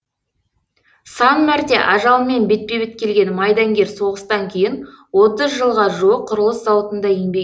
сан мәрте ажалмен бетпе бет келген майдангер соғыстан кейін отыз жылға жуық құрылыс зауытында еңбек